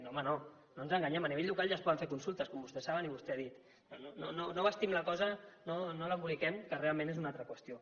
no home no no ens enganyem a nivell local ja es poden fer consultes com vostès saben i vostè ha dit no vestim la cosa no l’emboliquem que realment és una altra qüestió